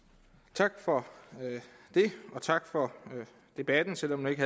tak for tak for debatten selv om den ikke